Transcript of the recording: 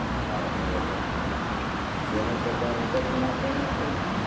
હા બરોબર તેને તો પણ ઉપેર થી નાખવાના છે ને